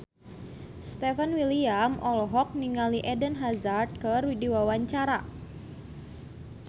Stefan William olohok ningali Eden Hazard keur diwawancara